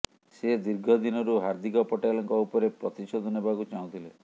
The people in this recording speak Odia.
ସେ ଦୀର୍ଘ ଦିନରୁ ହାର୍ଦ୍ଦିକ ପଟେଲଙ୍କ ଉପରେ ପ୍ରତିଶୋଧ ନେବାକୁ ଚାହୁଁଥିଲେ